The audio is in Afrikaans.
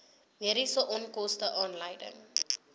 mediese onkoste aanleiding